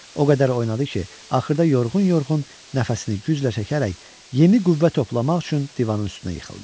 O qədər oynadı ki, axırda yorğun-yorğun nəfəsini güclə çəkərək yeni qüvvə toplamaq üçün divanın üstünə yıxıldı.